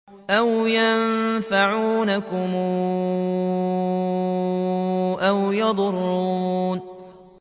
أَوْ يَنفَعُونَكُمْ أَوْ يَضُرُّونَ